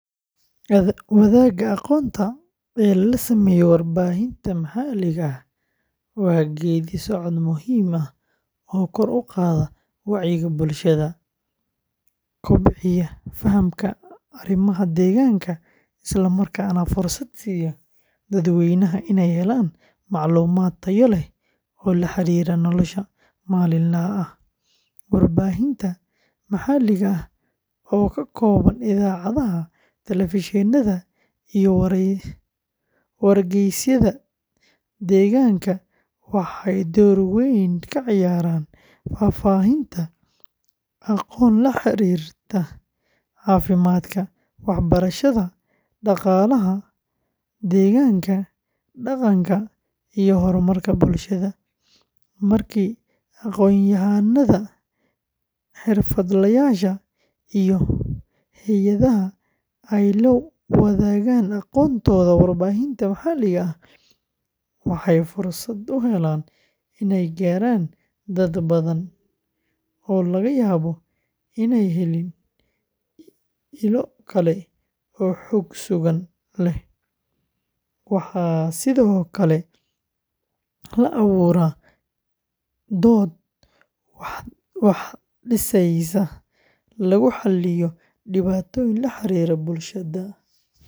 Wadaagga aqoonta ee lala sameeyo warbaahinta maxalliga ah waa geeddi-socod muhiim ah oo kor u qaada wacyiga bulshada, kobciya fahamka arrimaha deegaanka, islamarkaana fursad siiya dadweynaha inay helaan macluumaad tayo leh oo la xiriira noloshooda maalinlaha ah. Warbaahinta maxalliga ah oo ka kooban idaacadaha, telefishinada, iyo wargeysyada deegaanka, waxay door weyn ka ciyaaraan faafinta aqoon la xiriirta caafimaadka, waxbarashada, dhaqaalaha, deegaanka, dhaqanka, iyo horumarka bulshada. Markii aqoonyahannada, xirfadlayaasha, iyo hay’adaha ay la wadaagaan aqoontooda warbaahinta maxalliga ah, waxay fursad u helaan inay gaaraan dad badan oo laga yaabo in aanay helin ilo kale oo xog sugan leh. Waxaa sidoo kale la abuuraa dood wax dhisaysa, lagu xalliyo dhibaatooyin la xiriira bulshada.